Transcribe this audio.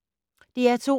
DR2